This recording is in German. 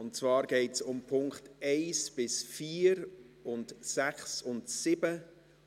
Es geht um die Punkte 1–4 sowie 6 und 7